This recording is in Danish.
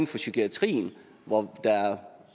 for psykiatrien hvor der er